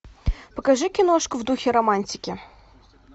покажи киношку в духе романтики